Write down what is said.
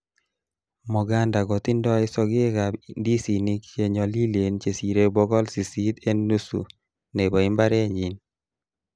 Moganda kotindoi sogek ab ndisinik che nyolilen chesire bogol sisit en nusu nebo imbarenyin.